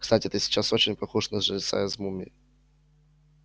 кстати ты сейчас очень похож на жреца из мумии